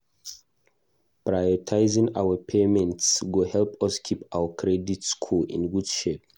Prioritizing payments go help us keep our credit score in good shape.